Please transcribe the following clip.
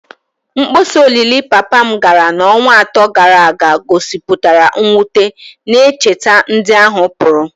Mkpọsa olili papa m gara n’ọnwa atọ gara aga gosipụtara mwute, na-echeta ndị ahụ pụrụ.